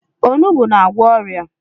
Onugbu na-agwọ ọrịa.